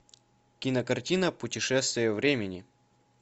кинокартина путешествие времени